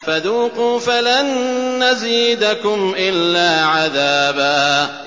فَذُوقُوا فَلَن نَّزِيدَكُمْ إِلَّا عَذَابًا